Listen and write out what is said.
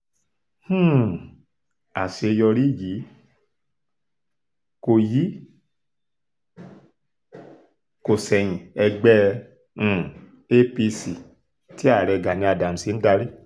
um àṣeyọrí yìí kò yìí kò ṣẹ̀yìn ẹgbẹ́ um apc tí ààrẹ gani adams ń darí